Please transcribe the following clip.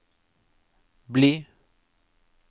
bli